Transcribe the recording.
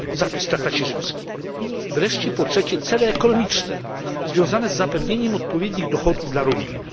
I wreszcie po trzecie, cele ekonomiczne, związane z zapewnieniem odpowiednich dochodów dla rolników.